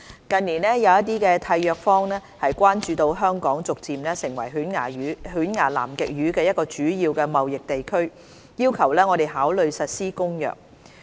近年，有一些締約方關注到香港逐漸成為犬牙南極魚一個主要的貿易地區，要求我們考慮實施《公約》。